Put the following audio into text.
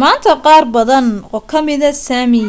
maanta qaar badan oo kamida sami